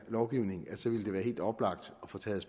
lovgivning ville det være helt oplagt at få taget